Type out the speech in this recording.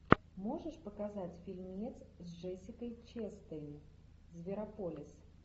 можешь показать фильмец с джессикой честейн зверополис